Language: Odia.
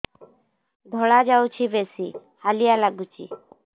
ଧଳା ଯାଉଛି ବେଶି ହାଲିଆ ଲାଗୁଚି